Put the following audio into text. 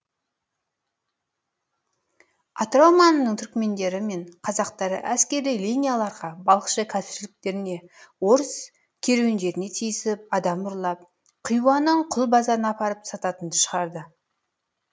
атырау маңының түрікмендері мен қазақтары әскери линияларға балықшы кәсіпшіліктеріне орыс керуендеріне тиісіп адам ұрлап хиуаның құл базарына апарып сататынды шығарды